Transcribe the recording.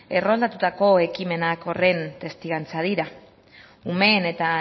erroldatutako ekimenak horren testigantza dira umeen eta